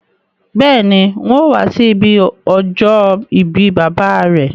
Béèni, n̄ óò wá sí ibi ọjọ́ ìbí bàbá à rẹ.